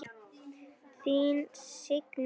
Þín Signý Lind.